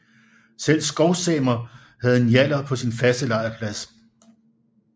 Selv skovsamer havde njallar på sine faste lejrpladser